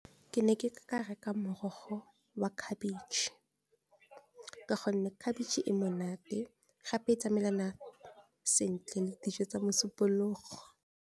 Ke ne ke ka reka morogo wa khabetšhe ka gonne khabetšhe e monate, gape e tsamaelana sentle le dijo tsa mosupologo.